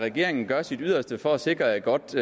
at regeringen gør sit yderste for at sikre et godt